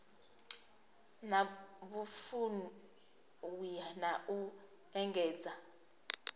na vhufuwi na u engedza